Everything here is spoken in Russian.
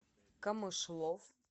камышлов